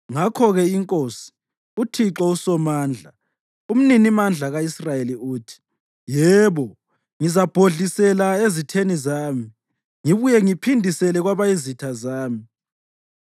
Ngakho-ke iNkosi, uThixo uSomandla, uMninimandla ka-Israyeli, uthi: “Yebo! Ngizabhodlisela ezitheni zami, ngibuye ngiphindisele kwabayizitha zami.